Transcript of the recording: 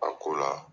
A ko la